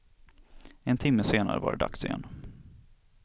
En timme senare var det dags igen.